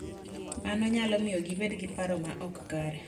Mano nyalo miyo gibed gi paro ma ok kare